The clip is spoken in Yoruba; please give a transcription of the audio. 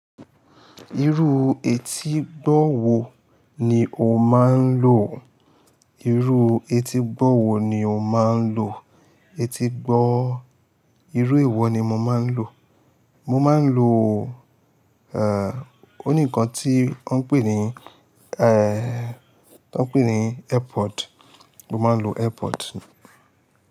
Irú etígbọ́ wo ni o máa ń lò? Irú etígbọ́ wo ni o máa ń lò? Etígbọ́, irú èwo ni mo máa ń lò. Mo máa ń lò, eh, ó ní nǹkan tí wọ́n ń pè ní, eh, wọ́n ń pè ní Earpod. Mo máa ń lo Earpod.